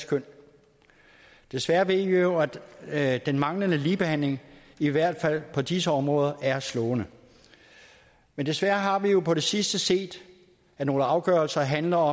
køn desværre ved vi jo at den manglende ligebehandling i hvert fald på disse områder er slående men desværre har vi jo på det sidste set at nogle afgørelser handler